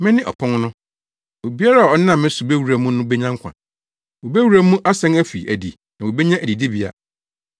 Mene ɔpon no. Obiara a ɔnam me so bewura mu no benya nkwa; wobewura mu asan afi adi na wobenya adidibea.